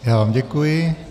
Já vám děkuji.